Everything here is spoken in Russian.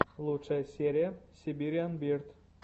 лучшая серия сибириан бирд